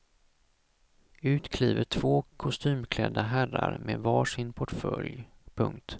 Ut kliver två kostymklädda herrar med var sin portfölj. punkt